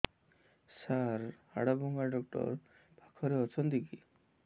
ସାର ହାଡଭଙ୍ଗା ଡକ୍ଟର ପାଖରେ ଅଛନ୍ତି କି